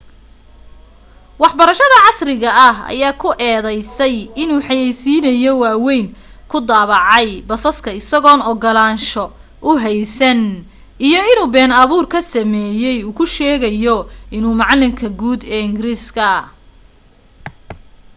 waxbarashada casriga ah ayaa ku eedaysay inuu xayaysiino waawayn ku daabacay basaska isagoon ogolaansho u haysan iyo inuu been abuur sameeyay uu ku sheegayo inuu macalinka guud ee ingiriisiga